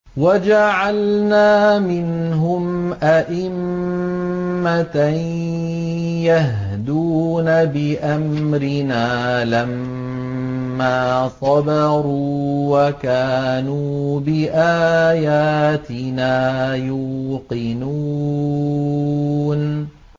وَجَعَلْنَا مِنْهُمْ أَئِمَّةً يَهْدُونَ بِأَمْرِنَا لَمَّا صَبَرُوا ۖ وَكَانُوا بِآيَاتِنَا يُوقِنُونَ